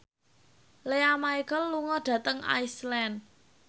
Lea Michele lunga dhateng Iceland